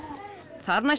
þar næst